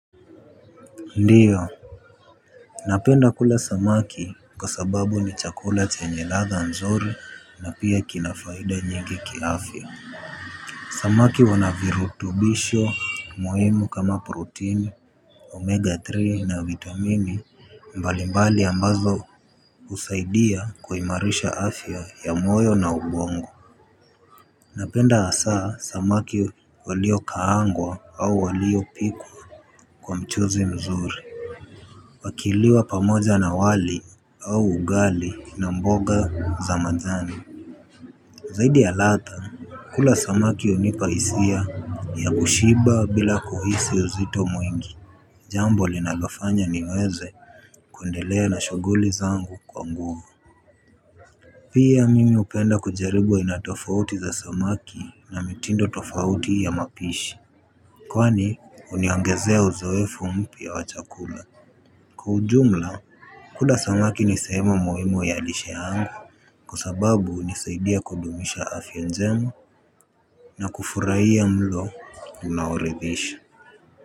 Ndio, napenda kula samaki kwa sababu ni chakula chenye ladha nzuri na pia kina faida nyingi kiafya. Samaki wana virutubisho muhimu kama proteni, omega-3 na vitamini mbalimbali ambazo husaidia kuimarisha afya ya moyo na ubongo. Napenda hasa samaki waliokaangwa au waliopikwa kwa mchuzi mzuri. Wakiliwa pamoja na wali au ugali na mboga za majani. Zaidi ya ladha, kula samaki hunipa hisia ya kushiba bila kuhisi uzito mwingi. Jambo linalofanya niweze kuendelea na shughuli zangu kwa nguvu. Pia mimi hupenda kujaribu aina tofauti za samaki na mitindo tofauti ya mapishi. Kwani huniongezea uzoefu mpya wa chakula. Kwa ujumla kula samaki ni sehemu muhimu ya lishe yangu kwa sababu hunisaidia kudumisha afya njema. Na kufurahia mlo unaoridhisha.